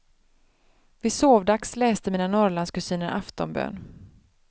Vid sovdags läste mina norrlandskusiner aftonbön.